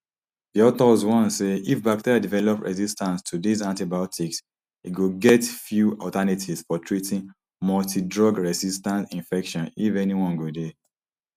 di authors warn say if bacteria develop resistance to dis antibiotics e go get few alternatives for treating multidrugresistant infections if any one go dey